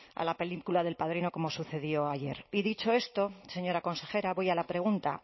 a la película de el padrino como sucedió ayer y dicho esto señora consejera voy a la pregunta